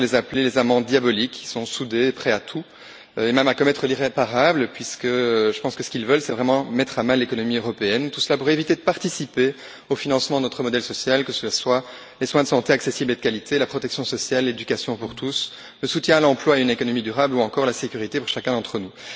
On pourrait les appeler les amants diaboliques qui sont soudés et prêts à tout, et même à commettre l'irréparable, puisque je pense que ce qu'ils veulent c'est vraiment mettre à mal l'économie européenne, tout cela pour éviter de participer au financement de notre modèle social, que cela soit les soins de santé accessibles et de qualité, la protection sociale, l'éducation pour tous, le soutien à l'emploi, une économie durable ou encore la sécurité pour chacun d'entre nous.